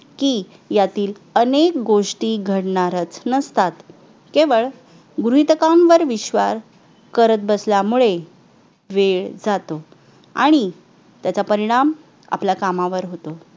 की यातील अनेक गोष्टी घडणारच नसतात, केवळ गृहीतकांवर विश्वास करत असल्यामुळे वेळ जातो. आणि त्याचा परिणाम आपल्या कामावर होतो.